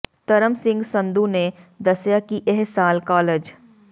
ਧਰਮ ਸਿੰਘ ਸੰਧੂ ਨੇ ਦੱਸਿਆ ਕਿ ਇਹ ਸਾਲ ਕਾਲਜ